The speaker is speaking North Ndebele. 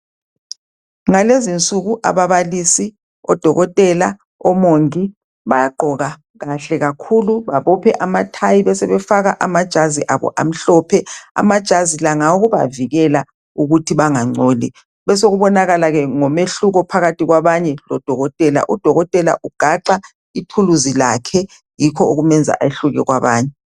ngalezo insuku ababalisi odokotela omongi bayagqoka kule kakhulu babophe amathayi besebefaka amajazi amajazi abo amhlophe amajazi la ngawokubavikela ukuthi bengancoli besokubonakala ke nomehluko phakathi kwabanye lodokotela, udokotela ugaxa ithuluzi lakhe yikho okumyenza ehlukane kwabanye